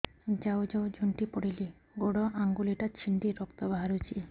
ଯାଉ ଯାଉ ଝୁଣ୍ଟି ପଡ଼ିଲି ଗୋଡ଼ ଆଂଗୁଳିଟା ଛିଣ୍ଡି ରକ୍ତ ବାହାରୁଚି